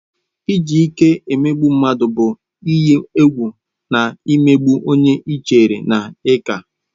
Iji ike emegbu mmadụ bụ ịyi egwu na imegbu onye ị chere na ị ka.